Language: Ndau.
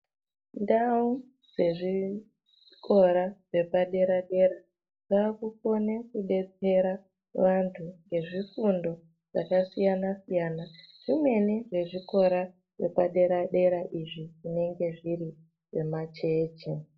Ndau dzezvikora zvepadera-dera, dzakukona kudetsera vantu, ngezvifundo zvakasiyana-siyana, zvimweni nezvikora zvepadera-dera izvi zvinenge zviri zvemajeche.